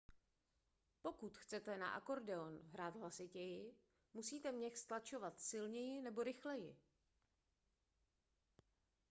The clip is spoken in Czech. pokud chcete na akordeon hrát hlasitěji musíte měch stlačovat silněji nebo rychleji